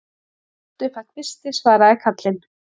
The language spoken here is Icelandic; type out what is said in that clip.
Allt upp að kvisti, svaraði karlinn.